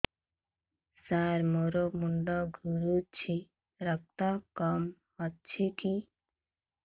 ସାର ମୋର ମୁଣ୍ଡ ଘୁରୁଛି ରକ୍ତ କମ ଅଛି କି